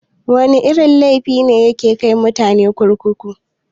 Wana irin laifi ne yake kai mutane kurkuku?